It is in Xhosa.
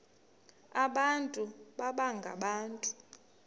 abantu baba ngabantu